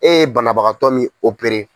E ye banabagatɔ min opere.